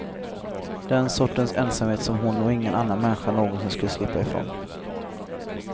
Den sortens ensamhet som hon och ingen annan människa någonsin skulle slippa ifrån.